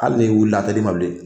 Hali n'i wilila a te di ma bilen.